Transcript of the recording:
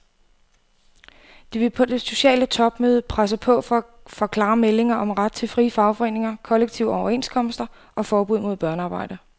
De vil på det sociale topmøde presse på for klare meldinger om ret til frie fagforeninger, kollektive overenskomster og forbud mod børnearbejde.